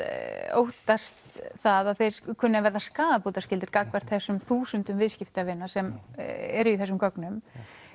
óttast það að þeir kunni að vera skaðabótaskyldir gagnvart þessum þúsundum viðskiptavina sem eru í þessum gögnum